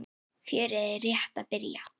Fjörið er rétt að byrja.